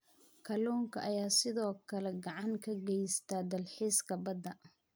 Kalluunka ayaa sidoo kale gacan ka geysta dalxiiska badda.